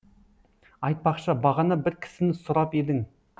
айтпақшы бағана бір кісіні сұрап едің